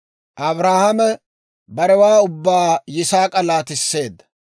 Abrahaame barewaa ubbaa Yisaak'a laatisseedda.